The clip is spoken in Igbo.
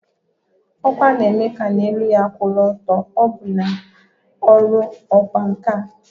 Ọkwa na-eme ka na elu ya kwụ ọtọ na ọbụna na ọrụ ọkwá nkà